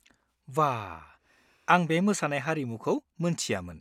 बा, आं बे मोसानाय हारिमुखौ मोन्थियामोन।